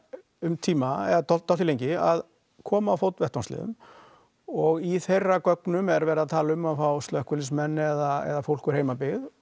um tíma eða dálítið lengi að koma á fót vettvangsliðum og í þeirra gögnum er verið að tala um að fá slökkvuliðsmenn eða fólk úr heimabyggð